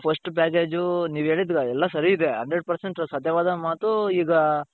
first package ನೀವ್ ಹೇಳಿದ್ರಲ್ಲಿ ಎಲ್ಲಾ ಸರಿ ಇದೆ hundred percent ಸತ್ಯವಾದ ಮಾತು ಈಗ .